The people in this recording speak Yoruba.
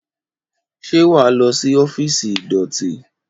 Ṣé wà á lọ sí ọ́fíìsì ìdọ̀tí?